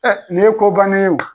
Ɛ nin ye ko bannen ye